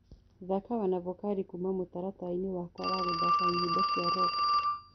thaka wanavokali kũũma mũtarataraĩnĩ wakwa wa gũthaka nyĩmbo cĩa rock